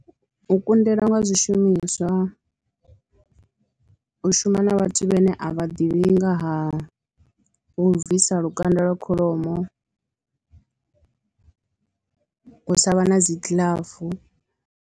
U kundelwa nga zwishumiswa, u shuma na vhathu vhane a vha ḓivhi nga ha u bvisa lukanda lwa kholomo, u sa vha na dzi giḽafu.